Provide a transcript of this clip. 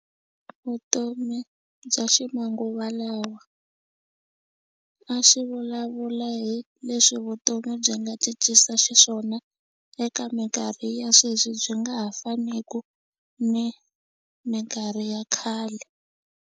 Vutomi bya ximanguva lawa a xi vulavula hi leswi vutomi byi nga cincisa xiswona eka minkarhi ya sweswi byi nga ha faniku ni minkarhi ya khale.